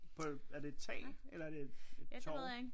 På et er det et tag eller er det et torv